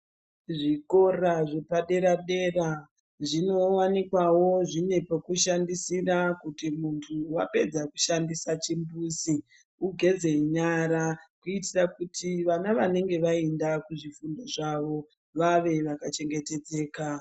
Zvikora zvepadera dera zvinowanikawo zvine pekushandira kuti wapedza kushandisa chimbuzi ugeze nyara kuitira kuti vana vanenge kuzvidzidzo zvavo veve vakachengetedzeka .